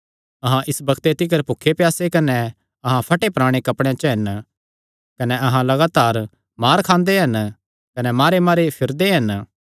अहां इस बग्ते तिकर भुखे प्यासे कने अहां फटेपराणे कपड़ेयां च हन कने अहां लगातार मार खांदे हन कने मारेमारे फिरदे हन